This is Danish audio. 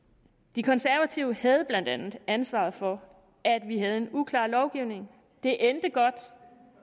de konservative havde blandt andet ansvaret for at vi havde en uklar lovgivning det endte godt